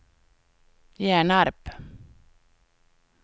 Hjärnarp